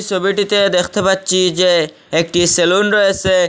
ছবিটিতে দেখতে পাচ্ছি যে একটি সেলুন রয়েছে।